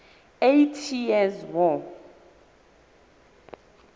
eighty years war